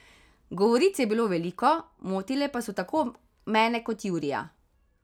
Govoric je bilo veliko, motile pa so tako mene kot Jurija.